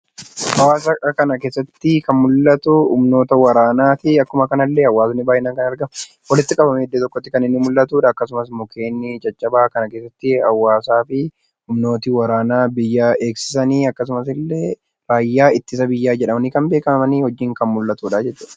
Hawwaasaa kana keessatti kan mul'atu humnoota waraanaati. Akkuma kana illee uummatni baay'inaan kan argamu, walitti qabamanii iddoo tokkotti kan mul'atudha. Akkasumas immoo mukkeen caccabaa kana keessatti kan mul'atu akkasumas hawwaasaa fi humnooti biyya eegsisan akkasumas illee Raayyaa Ittisa Biyyaa jedhamanii kan beekaman wajjin kan mul'atudha jechuudha.